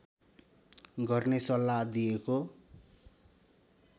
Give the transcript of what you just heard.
गर्ने सल्लाह दिएको